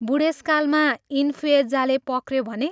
बूढेसकालमा इन्फ्युएज्जाले पक्र्यो भने?